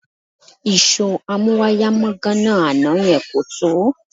Ìṣó amúwáyàmọ́gàná àná yẹn kò tó